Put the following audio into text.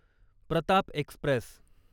Pratap Express